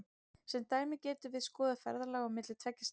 Sem dæmi getum við skoðað ferðalag á milli tveggja staða.